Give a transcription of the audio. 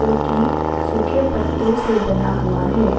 की सूखे पत्तो से बना हुआ है।